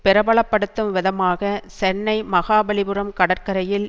பிரபலப்படுத்தும் விதமாக சென்னை மகாபலிபுரம் கடற்கரையில்